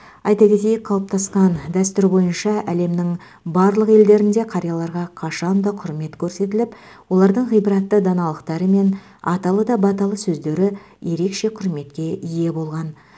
айта кетейік қалыптасқан дәстүр бойынша әлемнің барлық елдерінде қарияларға қашанда құрмет көрсетіліп олардың ғибратты даналықтары мен аталы да баталы сөздері ерекше құрметке ие болған